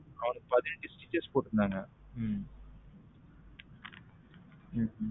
அவனுக்கு பதினைந்து striches போடுருந்தங்க உம் உம் உம்